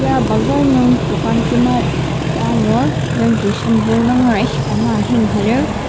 ya bazar nung dokan kima ta angur yangji shampoo nungera ishika maha hang ha lir.